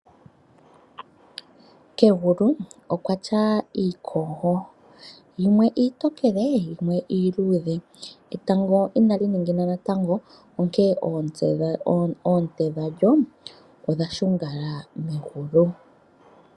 Kegulu okwatya iikogo, yimwe iitokele yimwe iiluudhe. etango inali ningina natango, onkee oonte dhadjo odha shungala megulu.